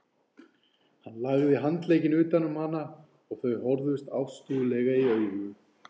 Hann lagði handlegginn utan um hana og þau horfðust ástúðlega í augu.